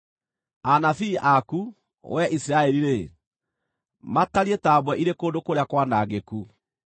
Anabii aku, wee Isiraeli-rĩ, matariĩ ta mbwe irĩ kũndũ kũrĩa kwanangĩku.